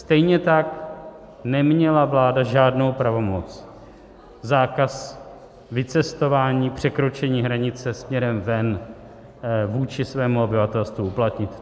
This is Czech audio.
Stejně tak neměla vláda žádnou pravomoc zákaz vycestování, překročení hranice směrem ven, vůči svému obyvatelstvu uplatnit.